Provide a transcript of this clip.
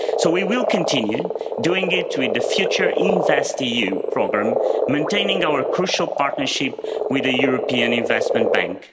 So we will continue doing it with the future InvestEU programme, maintaining our crucial partnership with the European Investment Bank.